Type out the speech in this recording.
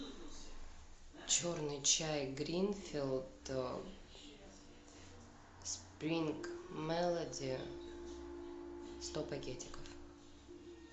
черный чай гринфилд спринг мелоди сто пакетиков